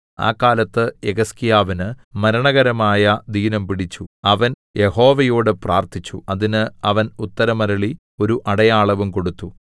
ആ കാലത്ത് യെഹിസ്കീയാവിന് മരണകരമായ ദീനംപിടിച്ചു അവൻ യഹോവയോട് പ്രാർത്ഥിച്ചു അതിന് അവൻ ഉത്തരം അരുളി ഒരു അടയാളവും കൊടുത്തു